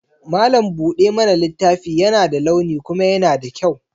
Mallam buɗa mana littafi yana da launi kuma yana da kyau.